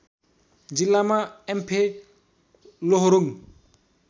जिल्लामा याम्फे लोहोरुङ्